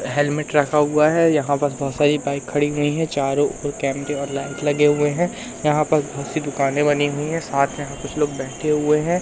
Helmet रखा हुआ है यहां बस बहोत सारी बाइक खड़ी हुई हैं चारों ओर कैमरे और लाइट लगे हुए हैं यहां पर बहोत सी दुकाने बनी हुई है साथ में यहां कुछ लोग बैठे हुए हैं।